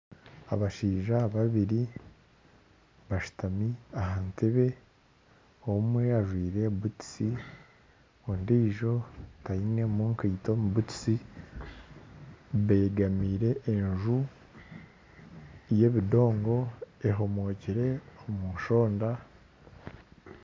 Abashaija babiri bashutami aha ntebe, omwe ajwire butusi kandi ondiijo taine nkaito omu bigyere, beegamiire enju y'ebindongo ehomokire omu nshonda